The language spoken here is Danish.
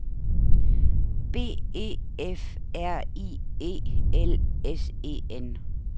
B E F R I E L S E N